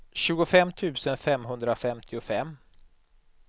tjugofem tusen femhundrafemtiofem